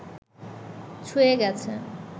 ছুঁয়ে গেছে